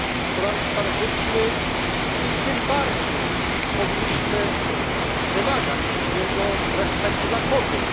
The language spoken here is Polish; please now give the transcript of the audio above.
To naród starożytny i tym bardziej powinniśmy wymagać od niego respektu dla kobiet.